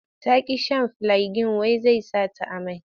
Ta ƙi shan filiagin wai sai saka ta amai.